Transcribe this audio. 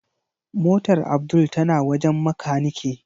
Motar Abdul tana wajen makanike.